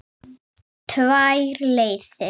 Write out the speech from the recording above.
Tvær leiðir.